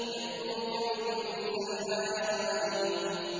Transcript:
يَأْتُوكَ بِكُلِّ سَحَّارٍ عَلِيمٍ